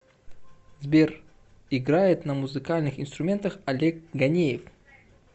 сбер играет на музыкальных инструментах олег ганеев